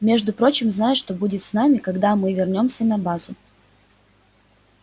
между прочим знаешь что будет с нами когда мы вернёмся на базу